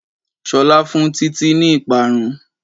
Ṣolá fun títí ní ìparun